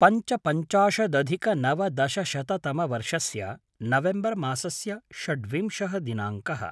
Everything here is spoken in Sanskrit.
पञ्चपञ्चाशदधिकनवदशशततमवर्षस्य नवेम्बर् मासस्य षड्विंशः दिनाङ्कः